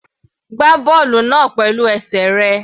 Gbá bọ́ọ̀lù náà pẹ̀lú.